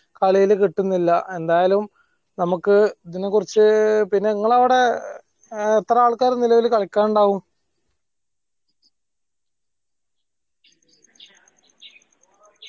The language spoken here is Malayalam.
കളീൽ കിട്ടുന്നില്ല എന്തായലും നമ്മക്ക് ഇതിനെ കുറിച്ച് പിന്നെ ഇങ്ങള അവിടെ ആഹ് എത്ര ആൾക്കാർ നിലവിൽ കളിക്കാനുണ്ടാവും